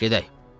Gedək.